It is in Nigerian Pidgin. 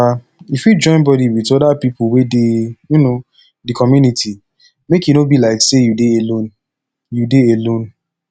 um you fit join body with oda pipo wey dey um di community make e no be like sey you dey alone you dey alone